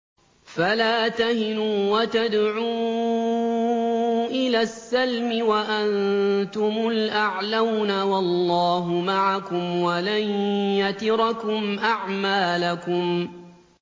فَلَا تَهِنُوا وَتَدْعُوا إِلَى السَّلْمِ وَأَنتُمُ الْأَعْلَوْنَ وَاللَّهُ مَعَكُمْ وَلَن يَتِرَكُمْ أَعْمَالَكُمْ